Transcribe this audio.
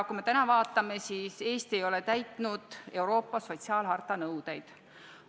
Eesti ei ole praeguseks täitnud Euroopa sotsiaalharta nõudeid.